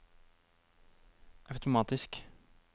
automatisk